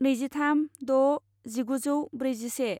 नैजिथाम द' जिगुजौ ब्रैजिसे